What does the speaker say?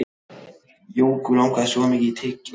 Jóku langaði svo mikið í tyggjó.